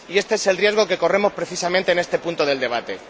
Y este es el riesgo que corremos precisamente en este punto del debate.